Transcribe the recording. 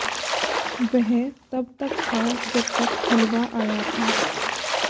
वह तब तक था जब तक हलवा आया था